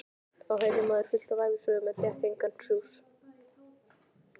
Þá heyrði maður fullt af ævisögum en fékk engan sjúss.